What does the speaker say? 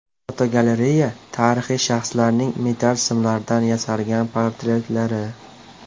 Fotogalereya: Tarixiy shaxslarning metall simlardan yasalgan portretlari.